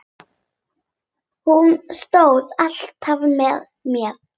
Hún stóð alltaf með mér.